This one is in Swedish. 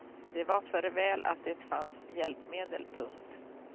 Det var för väl att det fanns hjälpmedel. punkt